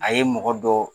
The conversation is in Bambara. A ye mɔgɔ dɔ